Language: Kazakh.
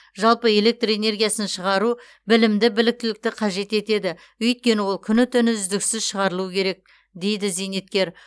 жалпы электр энергиясын шығару білімді біліктілікті қажет етеді өйткені ол күні түні үздіксіз шығарылуы керек дейді зейнеткер